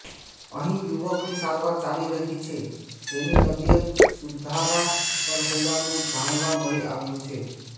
અહીં યુવકની સારવાર ચાલી રહી છે જેની તબીયત સુધારા પર હોવાનું જાણવા મળી રહ્યું છે